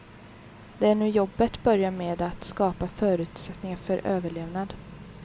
Det är nu jobbet börjar med att skapa förutsättningar för överlevnad.